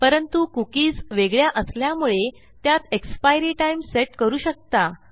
परंतु कुकीज वेगळ्या असल्यामुळे त्यात एक्सपायरी टाइम सेट करू शकता